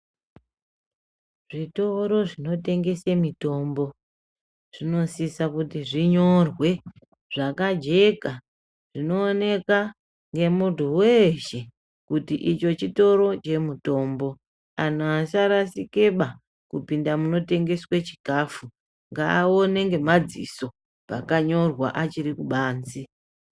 Zvitoro zvinotengesa mitombo zvinosisa kuti zvinyorwe zvakajeka zvinooneka nemuntu weshe kuti ichi chitoro chemitombo angu asarasikaba kupinda munotengeswa chikafu ngaone ngemadziso pakanyorwa achiri kubanze.